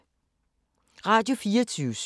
Radio24syv